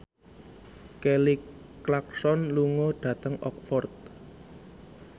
Kelly Clarkson lunga dhateng Oxford